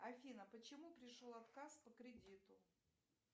афина почему пришел отказ по кредиту